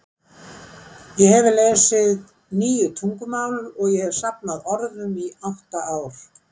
Ég hefi lesið níu tungumál, og ég hefi safnað orðum í átta ár.